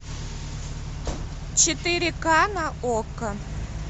четыре ка на окко